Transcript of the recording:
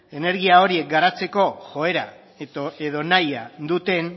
energia horiek garatzeko joera edo nahia duten